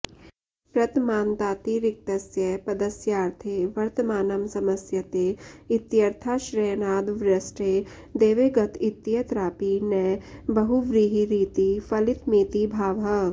प्रतमान्तातिरिक्तस्य पदस्यार्थे वर्तमानं समस्यते इत्यर्थाश्रयणाद्वृष्टे देवे गत इत्यत्रापि न बहुव्रीहिरिति फलितमिति भावः